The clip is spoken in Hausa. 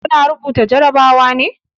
Kuna rubuta jarabawa ne?